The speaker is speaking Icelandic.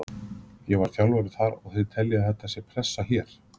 Ég var þjálfari þar og þið teljið að það sé pressa hér?